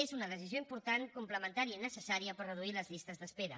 és una decisió important complementària i necessària per reduir les llistes d’espera